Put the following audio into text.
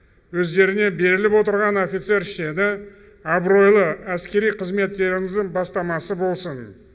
өздеріңе беріліп отырған офицер шені абыройлы әскери қызметтеріңіздің бастамасы болсын